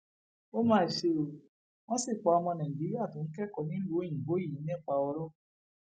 ó mà ṣe o wọn sì pa ọmọ nàìjíríà tó ń kẹkọọ nílùú òyìnbó yìí nípa ọrọ